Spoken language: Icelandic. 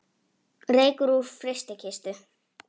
Reykur úr frystikistu